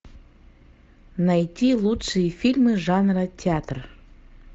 найти лучшие фильмы жанра театр